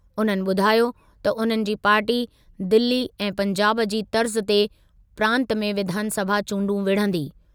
उन्हनि ॿुधायो त उन्हनि जी पार्टी दिली ऐं पंजाब जी तर्ज़ु ते प्रांत में विधानसभा चूंडू विढ़ंदी।